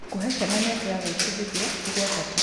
Gũcihe ciana mĩeke ya gwĩbundithia nĩ gwa bata.